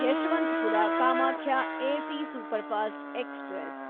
Yeshwanthpur Kamakhya AC superfast express